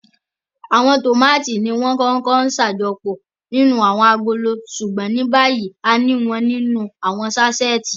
Awọn tómati niwọn ǹkọkọ ṣajọpọ ninu awọn agolo ṣugbọn nibayi àni wọn ninu awọn saṣeti